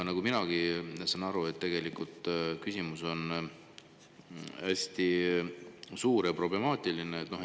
Nagu minagi aru saan, tegelikult küsimus on hästi suur ja problemaatiline.